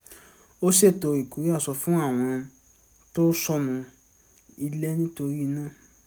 ó ṣètò ìkórè aṣọ fún àwọn tó sọnù ilé nítorí iná